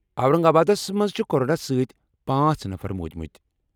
اورنگ آبادَس منٛز چھِ کورونا ستۍ پانژہ نفر مودمٕتۍ۔